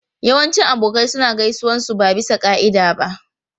Yawancin abokai suna gaisuwa su ba bisa ka'ida ba.